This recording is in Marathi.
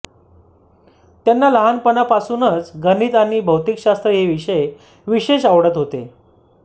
त्याना लहानपणापासुनच गणित आणि भौतिकशास्त्र हे विषय विशेष आवडत होते